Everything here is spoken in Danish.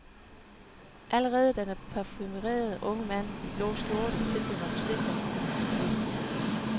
Allerede da den parfumerede unge mand i blå skjorte tilbød mig forsikringen, vidste jeg det.